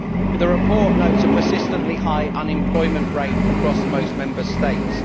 The report notes a persistently high unemployment rate across most Member States.